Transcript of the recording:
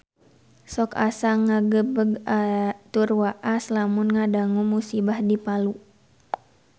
Sok asa ngagebeg tur waas lamun ngadangu musibah di Palu